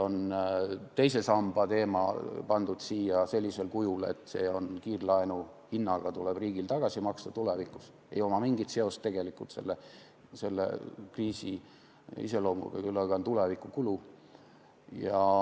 Teise samba teema on toodud siia sellisel kujul, et see tuleb riigil kiirlaenu hinnaga tulevikus tagasi maksta ja tal ei ole mingit seost selle kriisi iseloomuga, küll aga on see tulevikus kulu.